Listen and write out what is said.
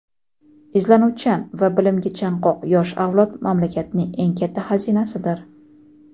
Izlanuvchan va bilimga chanqoq yosh avlod mamlakatning eng katta xazinasidir.